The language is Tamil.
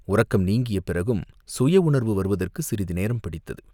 உறக்கம் நீங்கிய பிறகும் சுய உணர்வு வருவதற்குச் சிறிது நேரம் பிடித்தது.